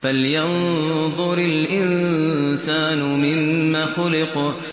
فَلْيَنظُرِ الْإِنسَانُ مِمَّ خُلِقَ